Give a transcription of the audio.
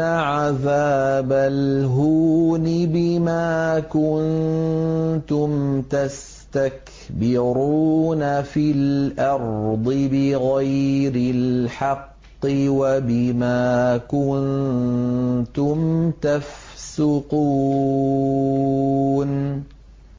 عَذَابَ الْهُونِ بِمَا كُنتُمْ تَسْتَكْبِرُونَ فِي الْأَرْضِ بِغَيْرِ الْحَقِّ وَبِمَا كُنتُمْ تَفْسُقُونَ